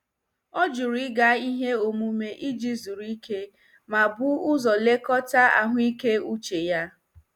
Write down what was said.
Ọ jụrụ ịga ihe omume iji zuru ike ma bu ụzọ lekọta ahụike uche ya.